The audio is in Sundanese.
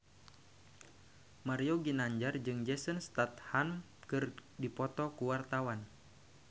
Mario Ginanjar jeung Jason Statham keur dipoto ku wartawan